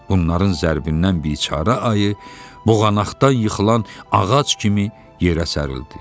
Bunların zərbindən biçarə ayı boğanaqdan yıxılan ağac kimi yerə sərildi.